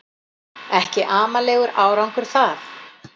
Ekki amalegur árangur það